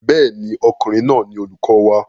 Bẹ́ẹ̀ ni, ọkùnrin náà ni olùkọ wa.